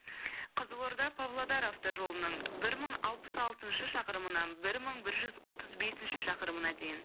қызылорда павлодар автожолының бір мың алпыс алтыншы шақырымынан бір мың бір жүз отыз бесінші шақырымына дейін